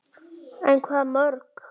En hvaða mörk?